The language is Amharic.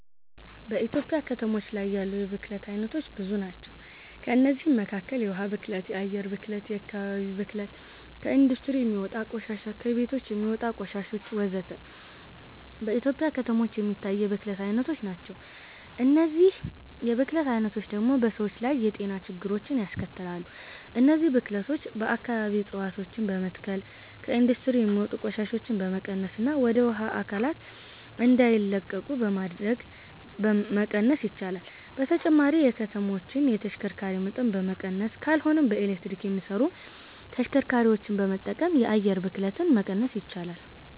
በኢትዮጵያ ከተሞች ያሉ የብክለት አይነቶች ብዙ ናቸው። ከእነዚህም መካከል የውሃ ብክለት፣ የአየር ብክለት፣ የአከባቢ ብክለት፣ ከኢንዱስትሪ የሚወጣ ቆሻሻ፣ ከቤቶች የሚወጣ ቆሻሾች ወዘተ። በኢትዮጵያ ከተሞች የሚታይ የብክለት አይነቶች ናቸው። እነዚህ የብክለት አይነቶች ደግሞ በሰዎች ላይ የጤና ችግሮችን ያስከትላሉ። እነዚህን ብክለቶች በአከባቢ እፀዋቶችን በመትከል፣ ከኢንዱስትሪ የሚወጡ ቆሻሻዎችን በመቀነስና ወደ ውሃ አካላት እንዳይለቁ በማድረግ መቀነስ ይቻላል። በተጨማሪም የከተማዎችን የተሽከርካሪ መጠን በመቀነስ ካልሆነም በኤሌክትሪክ የሚሰሩ ተሽከርካሪዎችን በመጠቀም የአየር ብክለትን መቀነስ ይቻላል።